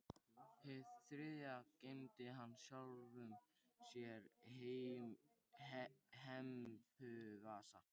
Hið þriðja geymdi hann sjálfum sér í hempuvasa.